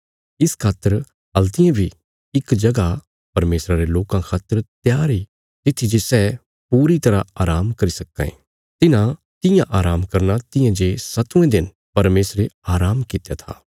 इस खातर हल्तियें बी इक जगह परमेशरा रे लोकां खातर त्यार इ तित्थी जे सै पूरी तरह आराम करी सक्कां ये तिन्हां तियां आराम करना तियां जे सत्तवें दिन परमेशरे आराम कित्या था